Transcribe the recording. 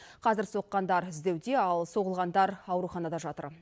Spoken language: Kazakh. қазір соққандар іздеуде ал соғылғандар ауруханада жатыр